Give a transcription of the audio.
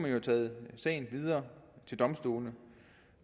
have taget sagen videre til domstolene